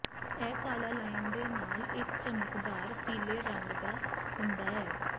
ਇਹ ਕਾਲਾ ਲਾਈਨ ਦੇ ਨਾਲ ਇੱਕ ਚਮਕਦਾਰ ਪੀਲੇ ਰੰਗ ਦਾ ਹੁੰਦਾ ਹੈ